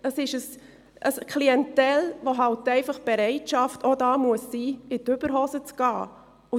Es ist eine Klientel, welche einfach die Bereitschaft haben muss, in die Überhosen zu steigen.